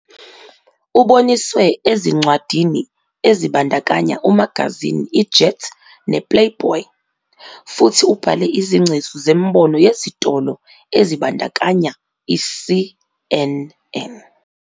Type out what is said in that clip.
Uboniswe ezincwadini ezibandakanya umagazini iJet ne- Playboy, futhi ubhale izingcezu zemibono yezitolo ezibandakanya i-CNN.